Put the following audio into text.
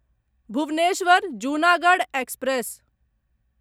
Bhubaneswar Junagadh express